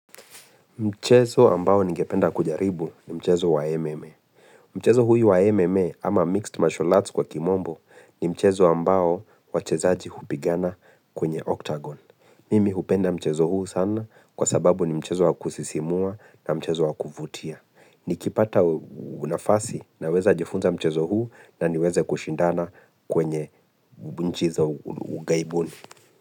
Mchezo ambao ningependa kujaribu ni mchezo wa MMA. Mchezo huyu wa MMA ama mixed martial arts kwa kimombo ni mchezo ambao wachezaji hupigana kwenye octagon. Mimi hupenda mchezo huu sana kwa sababu ni mchezo wakusisimua na mchezo wakuvutia. Nikipata unafasi naweza jifunza mchezo huu na niweze kushindana kwenye nchi za ugaibuni.